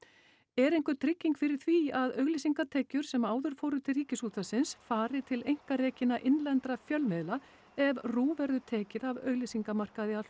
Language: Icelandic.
er einhver trygging fyrir því að auglýsingatekjur sem áður fóru til Ríkisútvarpsins fari til einkarekinna innlendra fjölmiðla ef RÚV verður tekið af auglýsingamarkaði að